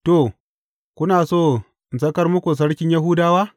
To, kuna so in sakar muku sarkin Yahudawa’?